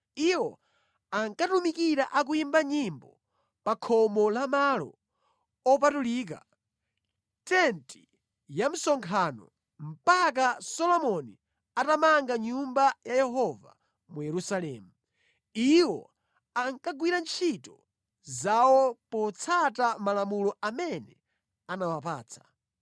Iwo ankatumikira akuyimba nyimbo pa khomo la malo opatulika, tenti ya msonkhano, mpaka Solomoni atamanga Nyumba ya Yehova mu Yerusalemu. Iwo ankagwira ntchito zawo potsata malamulo amene anawapatsa.